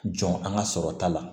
Jɔn an ka sɔrɔta la